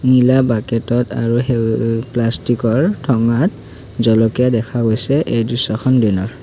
নীলা বাকেট ত আৰু সেই প্লাষ্টিক ৰ ঠোঙাত জলকীয়া দেখা গৈছে এই দৃশ্যখন দিনৰ।